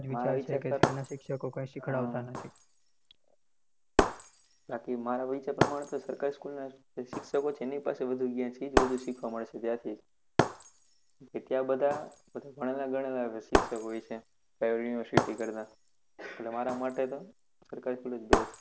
બાકી મારા વિષય પ્રમાણે તો સરકારી સ્કુલના જે શિક્ષકો છે એની પાસે વધુ જ્ઞાન છે એ વધુ શીખવા મળે છે ત્યાંથી એટલા બધા ભણેલા ગણેલા શિક્ષક હોય છે, private university કરતા, એટલે મારા માટે તો સરકારી school જ best છે.